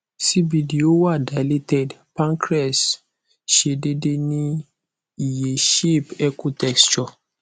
cbd o wa dilated pancreas se dede ni iye shape echo texture